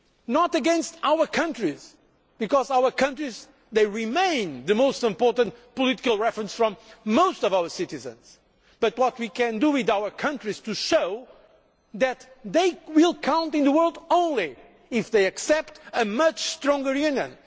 Not against our countries, because our countries are still the most important political reference for most of our citizens, but what can we do with our countries to show that they will only count in the world if they accept a much stronger Union